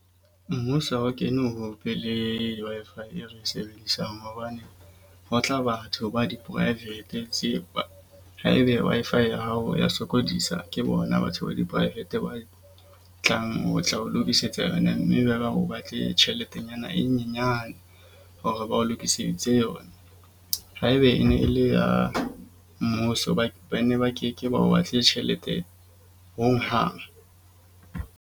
Mmuso ha o kene ho be le Wi-Fi e re sebedisang. Hobane ho tla batho ba di-private tsepa haebe Wi-Fi ya hao ya sokodisa. Ke bona batho ba di-private be tlang ho tla o lokisetsa yona. Mme ba ba o batle tjheletenyana e nyenyane hore ba o lokisitse yona. Haeba e ne e le ya mmuso hobane ba ne ba ke ke ba o batle tjhelete ho hang.